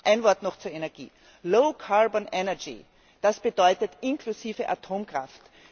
Ein Wort noch zur Energie Low carbon energy das bedeutet inklusive Atomkraft.